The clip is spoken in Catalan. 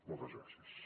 moltes gràcies